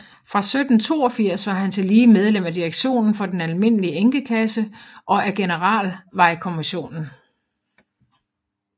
Fra 1782 var han tillige medlem af direktionen for den almindelige enkekasse og af Generalvejkommissionen